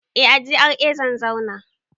Eh a GRA zan zauna